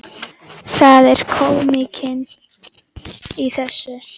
Það er kómíkin í þessu.